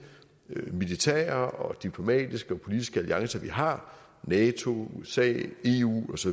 militære diplomatiske og politiske alliancer vi har nato usa eu osv